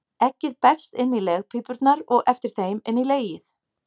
Eggið berst inn í legpípurnar og eftir þeim inn í legið.